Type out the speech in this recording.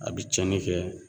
A bi cɛni kɛ